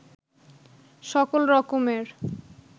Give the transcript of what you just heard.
সকল রকমের